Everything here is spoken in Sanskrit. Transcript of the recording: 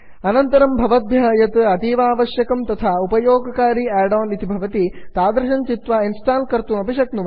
अनन्तरं भवद्भ्यः यत् अतीवावश्यकं तथा उपयोगकारी आड् आन् इति भवति तादृशं चित्वा इन्स्टाल् कर्तुं शक्यते